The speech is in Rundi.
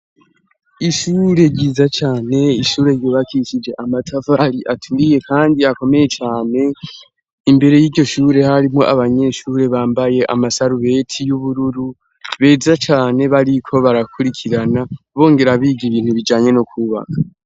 Ishure ryiza cane, ishure ryubakishije amatafari aturiye kandi akomeye cane, imbere y'iryo shure harimwo abanyeshure bambaye amasarubeti y'ubururu beza cane, bariko barakurikirana bongera biga ibintu bijanye no kwubaka.